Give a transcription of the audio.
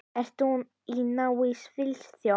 Ertu í námi í Svíþjóð?